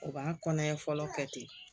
U b'a kɔnɔɲɛ fɔlɔ kɛ ten